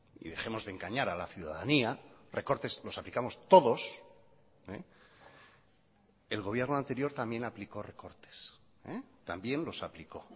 y dejemos de engañar a la ciudadanía recortes los aplicamos todos el gobierno anterior también aplicó recortes también los aplicó